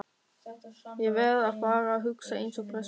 Ég verð að fara að hugsa eins og prestur.